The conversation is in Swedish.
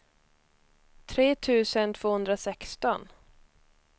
tre tusen tvåhundrasexton